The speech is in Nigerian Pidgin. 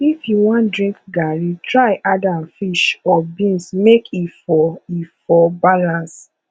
if you wan drink garri try add am fish or beans mek e for e for balance